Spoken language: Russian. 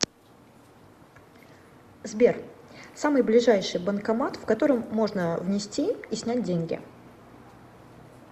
сбер самый ближайший банкомат в котором можно внести и снять деньги